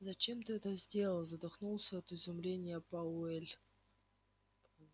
зачем ты это сделал задохнулся от изумления пауэлл